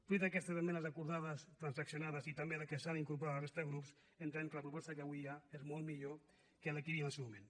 fruit d’aquestes esmenes acordades transaccionades i també les que s’han incorporat de la resta de grups entenem que la proposta que avui hi ha és molt millor que la que hi havia en el seu moment